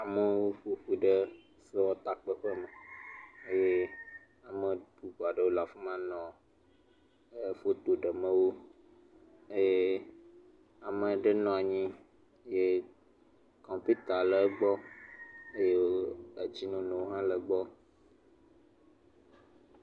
Amewo ƒoƒu ɖe sewɔtakpeƒe me eye ame bubu aɖewo le afi manɔ foto ɖem wo eye ame aɖe nɔ anyi eye kɔmpita le egbɔ eye etsinono hã le egbɔ.